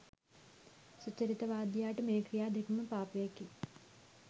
සුචරිතවාදියාට මේ ක්‍රියා දෙකම පාපයකි